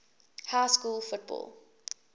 high school football